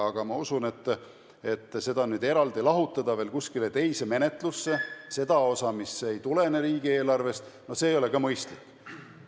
Aga ma usun, et seda osa nüüd eraldi lahutada kuskile teise menetlusse, seda osa, mis ei tule riigieelarvest – no see ei ole ka mõistlik.